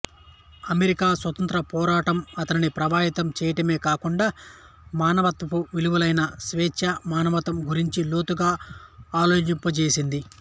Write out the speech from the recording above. America స్వాతంత్య్రపోరాటం అతనిని ప్రభావితం చేయడమే కాకుండా మానవత్వపు విలువలెైన స్వేచ్ఛ సమానత్వం గురించి లోతుగా ఆలోచింపచేసింది